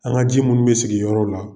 An' ŋa ji munnu be sigiyɔrɔw la